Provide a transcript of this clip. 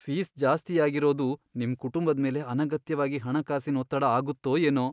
Fees ಜಾಸ್ತಿ ಆಗಿರೋದು ನಿಮ್ ಕುಟುಂಬದ್ಮೇಲೆ ಅನಗತ್ಯವಾಗಿ ಹಣಕಾಸಿನ್ ಒತ್ತಡ ಆಗತ್ತೋ ಏನೋ.